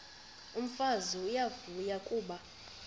umfazi uyavuya kuba